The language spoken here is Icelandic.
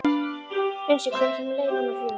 Unnsi, hvenær kemur leið númer fjögur?